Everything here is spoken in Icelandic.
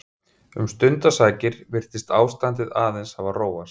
Um stundarsakir virtist ástandið aðeins hafa róast.